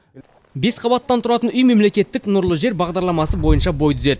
бес қабаттан тұратын үй мемлекеттік нұрлы жер бағдарламасы бойынша бой түзеді